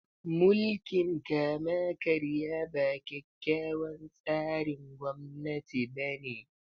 Mulkin kama-karya ba kyakkyawan tsarin gwamnati bane.